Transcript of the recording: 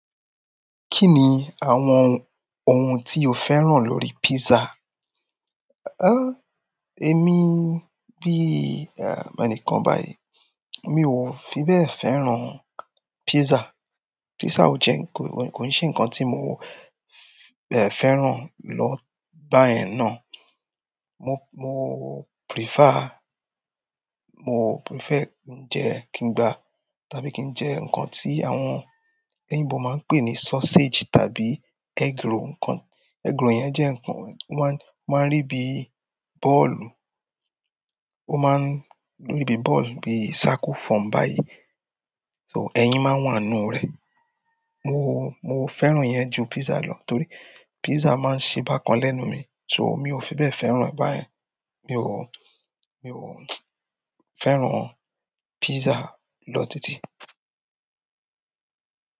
Kí ni àwọn ohun tí o fẹ́ràn lórí pizza? Ó, èmi bí ẹ̀, ẹnìkan báyìí, mi ò fi bẹ́ẹ̀ fẹ́ràn pizza. Pizza ò jẹ́ ń ko, kò n ṣe ńǹkan tí mo fi bẹ́ẹ̀ fẹ́ràn lọ bá yẹn ná. Mo, mo prefer, mo prefer ń jẹ́ kíń gbá tàbí kí n jẹ́ ǹkan tí àwọn oyinbo máa ń pè ní sausage tàbí egg roll. Ǹikan, egg roll yẹn jẹ́ ǹkan wọ́n máa ń rí bí bọ́ọ̀lù, ó má ń rí bí bọ́ọ̀lù, bí circle form báyìí. So ẹyin máa ń wà nínú rẹ̀. Mo, mo fẹ́ràn ìyẹn ju pizza lọ torí pizza má ń ṣe bákan lẹ́nu mi. So mi ò fi bẹ́ẹ̀ fẹ́ràn ẹ̀ báyẹn. Mi ò mi ò fẹ́ràn pizza lọ títí.